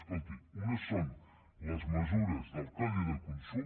escolti unes són les mesures del codi de consum